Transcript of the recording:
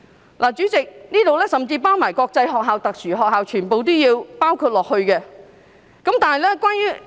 代理主席，該條文甚至連國際學校和特殊學校全部也包括在內。